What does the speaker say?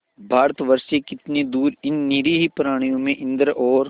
भारतवर्ष से कितनी दूर इन निरीह प्राणियों में इंद्र और